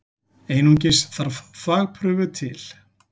Einungis þarf þvagprufu til.